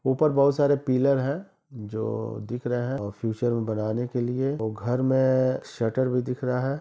ऊपर बहुत सारे पिलर हैं जो दिख रहे हैं और फ्यूचर में बनाने के लिए और घर में शटर भी दिख रहा --